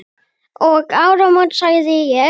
Eftir áramót sagði ég.